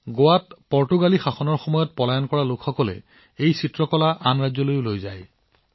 গোৱাত পৰ্তুগীজ শাসনকালত তাৰ পৰা প্ৰব্ৰজন কৰা লোকসকলে আন ৰাজ্যৰ লোকসকলকো এই আশ্চৰ্যকৰ চিত্ৰৰ সৈতে পৰিচয় কৰাই দিছিল